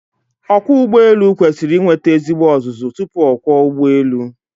Ọkwọụgbọelu kwesiri inweta ezigbo ọzụzụ tupu ọ kwọọ ụgbọelu.